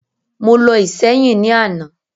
Mo lọ Ìséyìn ní àná